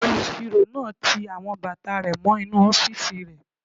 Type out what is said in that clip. Olùsirò náà ti àwọn bàtà rẹ̀ mọ́ inú ọ́fìsì rẹ̀